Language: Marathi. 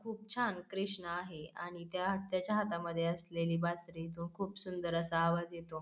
खूप छान कृष्णा आहे आणि त्या त्याच्या हातामध्ये असलेले बासरी तो खूप छान असा आवाज येतो.